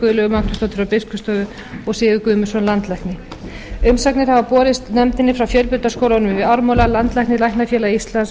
og guðlaugu magnúsdóttur frá biskupsstofu og sigurð guðmundsson landlækni umsagnir hafa borist nefndinni frá fjölbrautaskólanum við ármúla landlækni læknafélagi íslands